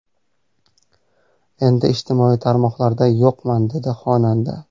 Endi ijtimoiy tarmoqlarda yo‘qman”, dedi xonanda.